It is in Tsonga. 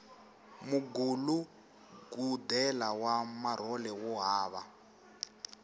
mugulugudela wa marhole wo hava